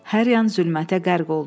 Hər yan zülmətə qərq oldu.